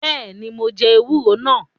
Beeni, mo jẹ ewúro nàá